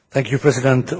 Thank you President.